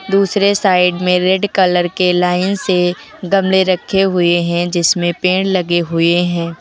दूसरे साइड में red colour के लाइन से गमले रखे हुए हैं जिसमें पेड़ लगे हुए हैं।